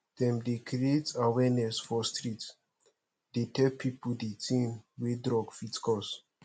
dem dey create awareness for street dey tell pipu di tin wey drug fit cause